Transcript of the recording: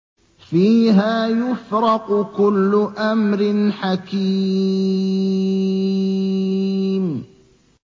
فِيهَا يُفْرَقُ كُلُّ أَمْرٍ حَكِيمٍ